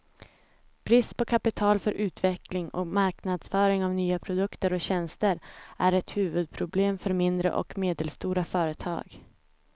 Brist på kapital för utveckling och marknadsföring av nya produkter och tjänster är ett huvudproblem för mindre och medelstora företag.